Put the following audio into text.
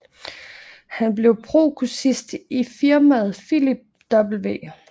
Han blev prokurist i firmaet Philip W